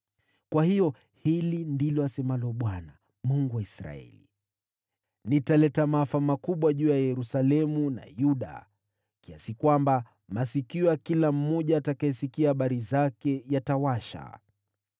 Kwa hiyo hili ndilo asemalo Bwana , Mungu wa Israeli: Nitaleta maafa makubwa juu ya Yerusalemu na Yuda, kiasi kwamba masikio ya kila mmoja atakayesikia habari zake yatawasha.